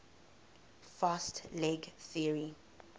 fast leg theory